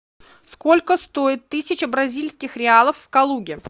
сколько стоит тысяча бразильских реалов в калуге